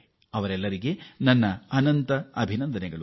ತಂಡದ ಎಲ್ಲ ಆಟಗಾರರಿಗೂ ನನ್ನ ಹೃತ್ಫೂರ್ವಕ ಅಭಿನಂದನೆಗಳು